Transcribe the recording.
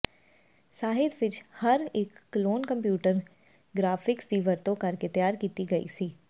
ਸਾਹਿਤ ਵਿੱਚ ਹਰ ਇੱਕ ਕਲੋਨ ਕੰਪਿਊਟਰ ਗਰਾਫਿਕਸ ਦੀ ਵਰਤੋਂ ਕਰਕੇ ਤਿਆਰ ਕੀਤੀ ਗਈ ਸੀ